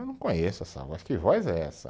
Eu não conheço essa voz, que voz é essa?